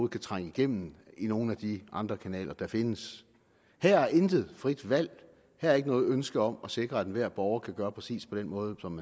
kan trænge igennem via nogle af de andre kanaler der findes her er intet frit valg her er ikke noget ønske om at sikre at enhver borger kan gøre præcis på den måde som